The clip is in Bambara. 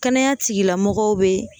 Kɛnɛya tigilamɔgɔw be